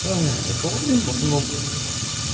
да кого блин в основном